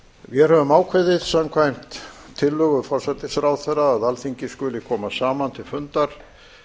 vér höfum ákveðið samkvæmt tillögu forsætisráðherra að alþingi skuli koma saman til fundar